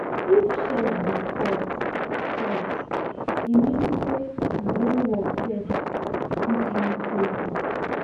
if chess be sport sport e mean say brain work self fit win trophy.